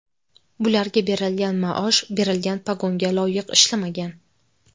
Bularga berilgan maosh, berilgan pogonga loyiq ishlamagan.